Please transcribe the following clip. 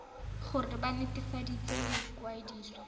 gore ba nt hwafatse ikwadiso